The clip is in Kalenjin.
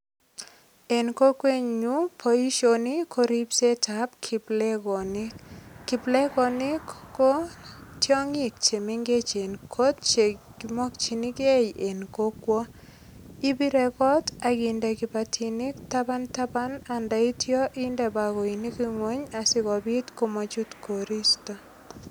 En kokwenyu boisioni ko ripsetab kiplegonik. Kiplegonik ko tiongik che mengechen kot che kimakyinigei eng kokwo. Ipirei kot ak inde kipatinik tabantaban andaityo inde bakoinik ngeny asigopit komanyut koristo.